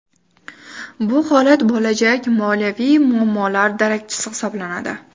Bu holat bo‘lajak moliyaviy muammolar darakchisi hisoblanadi.